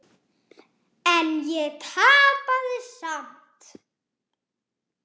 En ég tapaði samt.